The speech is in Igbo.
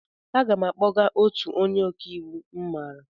Aga m akpọgaa otu onye ọka iwu m maara.